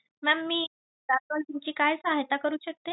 Ma'am मी तुमची काय सहायता करू शकते?